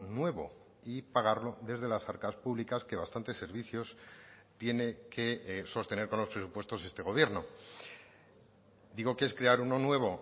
nuevo y pagarlo desde las arcas públicas que bastantes servicios tiene que sostener con los presupuestos este gobierno digo que es crear uno nuevo